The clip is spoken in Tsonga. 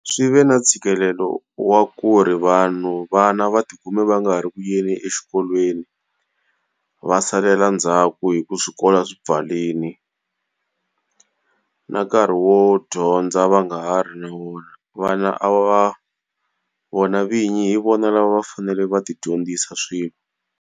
Swi ve na ntshikelelo wa ku ri vanhu vana va ti kume va nga ha ri ku yeni exikolweni va salela ndzhaku hi ku swikolo swi pfarile. Na nkarhi wo dyondza va nga ha ri na wona, vana va vona vinyi hi vona a va va fanele va ti dyondzisa swilo.